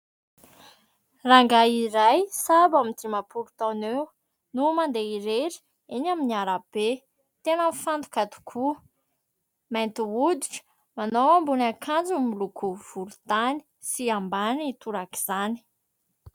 Rangahy iray sahabo eo amin'ny dimampolo taona eo no mandeha irery eny amin'ny arabe, tena mifantoka tokoa, mainty hoditra, manao ambony akanjo miloko volontany sy ambany torak'izany.